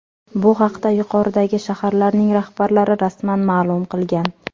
Bu haqda yuqoridagi shaharlarning rahbarlari rasman ma’lum qilgan .